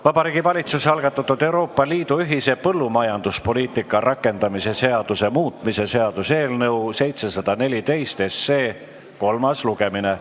Vabariigi Valitsuse algatatud Euroopa Liidu ühise põllumajanduspoliitika rakendamise seaduse muutmise seaduse eelnõu 714 kolmas lugemine.